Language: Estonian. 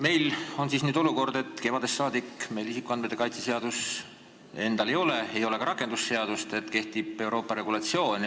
Meil on siis nüüd olukord, et kevadest saadik meil isikuandmete kaitse seadust ei ole, ei ole ka rakendusseadust, vaid kehtib Euroopa regulatsioon.